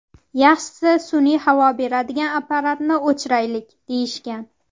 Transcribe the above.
Yaxshisi sun’iy havo beradigan apparatni o‘chiraylik”, deyishgan.